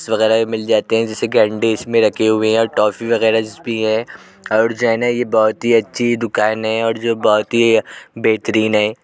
वगैरा भी मिल जाते हैं। जैसे कि अंडे इसमें रखे हुए हैं और टॉफी वगैरा भी है और जो है न ये बहुत ही अच्छी दुकान है और जो बहुत ही बेहतरीन है।